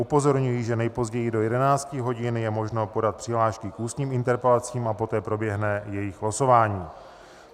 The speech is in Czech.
Upozorňuji, že nejpozději do 11 hodin je možno podat přihlášky k ústním interpelacím, a poté proběhne jejich losování.